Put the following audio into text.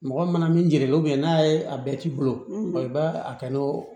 Mɔgɔ mana min gɛlɛn dɔrɔn n'a ye a bɛɛ k'i bolo i b'a a kɛ n'o